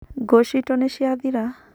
Ngũ citũ nĩciathiraa.